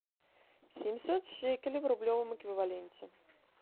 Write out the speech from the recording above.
семьсот шекелей в рублевом эквиваленте